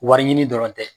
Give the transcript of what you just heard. Wari ɲini dɔrɔn tɛ